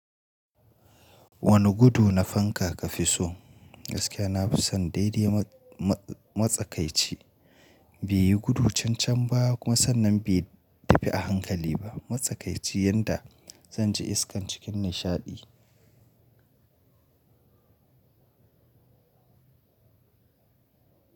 Wani gudu na fanka ka fi so? Gaskiya na fi son daidai matsakaici. Bai yi gudu chancham ba kuma sannan bai tafi a hankali ba. Matsakaici yanda zan ji iskan cikin nishaɗi.